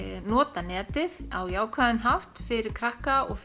nota netið á jákvæðan hátt fyrir krakka og